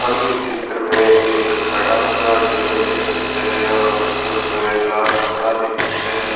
हम इस चित्र मे एक बड़ा-सा टेबल देख सकते है और उसके ऊपर एक लाल कपडा देख सकते है।